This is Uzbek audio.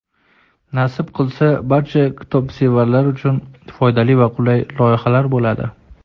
Nasib qilsa barcha kitobsevarlar uchun foydali va qulay loyihalar bo‘ladi.